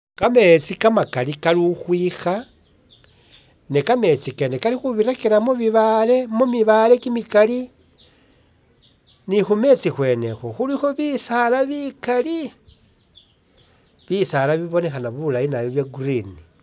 Ka metsi ka makali kali ukhwikha, ne ka metsi kene kali khubirakira mu mibaale kyimikali ni khu metsi khwene ikhwo khulikho bisaala bikali, bisaala bibonekhana bulayi bya green.